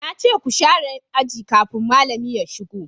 na ce ku sharé aji kafin malami ya shigo!